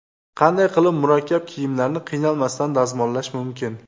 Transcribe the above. Qanday qilib murakkab kiyimlarni qiynalmasdan dazmollash mumkin?.